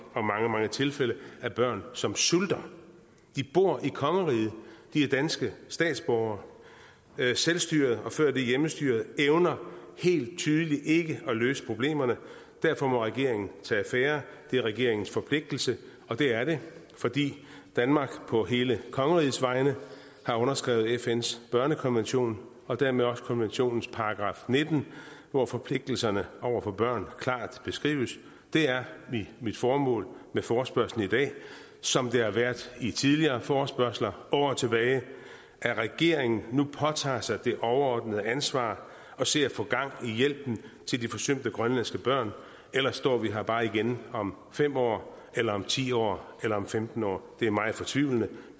og mange mange tilfælde af børn som sulter de bor i kongeriget de er danske statsborgere men selvstyret og før det hjemmestyret evner helt tydeligt ikke at løse problemerne derfor må regeringen tage affære det er regeringens forpligtelse og det er det fordi danmark på hele kongerigets vegne har underskrevet fns børnekonvention og dermed også konventionens § nitten hvor forpligtelserne over for børn klart beskrives det er mit formål med forespørgslen i dag som det har været med tidligere forespørgsler år tilbage at regeringen nu påtager sig det overordnede ansvar og ser at få gang i hjælpen til de forsømte grønlandske børn ellers står vi her bare igen om fem år eller om ti år eller om femten år det er meget fortvivlende